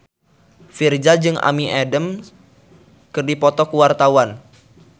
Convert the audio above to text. Virzha jeung Amy Adams keur dipoto ku wartawan